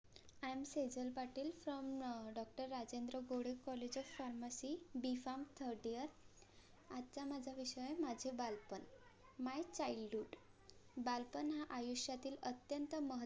I am Sejal Patil doctor Rajendra Boras college of pharmacy bharm third year आजचा माझा विषय माझे बालपण My childhood बालपण हा आयुष्यातील अत्यंत महत्वाचा~.